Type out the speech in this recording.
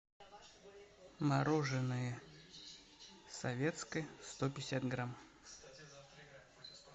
мороженое советское сто пятьдесят грамм